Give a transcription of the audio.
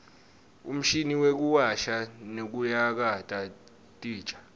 umshini wekuwasha nekuyakata titja